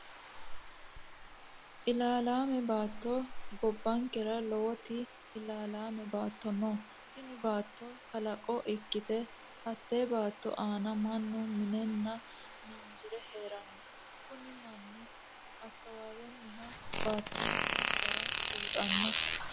Ilaa'lame baato, goba'nkera lowoti ilaa'lame baato no, tini baato kalaqo ikkite hatte baato aana manu mi'nenna miinjire heerano, kuni mani akawawenihha baato'nsa gara buuxanno